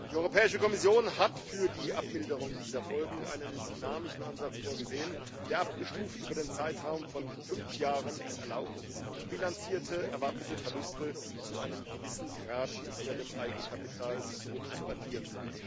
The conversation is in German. Die Europäische Kommission hat für die Abmilderung dieser Folgen einen dynamischen Ansatz vorgesehen, der es abgestuft über den Zeitraum von fünf Jahren, erlaubt, bilanzierte erwartete Verluste zu einem gewissen Grad wieder dem Eigenkapital zurückzuaddieren.